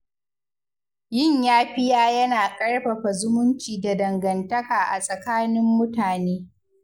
Yin yafiya yana ƙarfafa zumunci da dangantaka a tsakanin mutane.